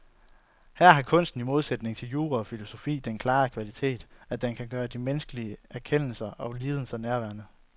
Her har kunsten i modsætning til jura og filosofi den klare kvalitet, at den kan gøre de menneskelige erkendelser og lidelser nærværende.